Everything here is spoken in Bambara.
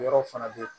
Yɔrɔw fana bɛ yen